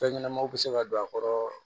Fɛn ɲɛnɛmaw be se ka don a kɔrɔ